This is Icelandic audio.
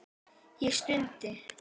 Ég stundi.